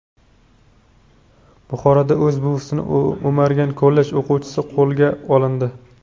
Buxoroda o‘z buvisini o‘margan kollej o‘quvchisi qo‘lga olindi.